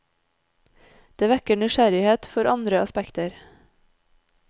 Det vekker nysgjerrighet for andre aspekter.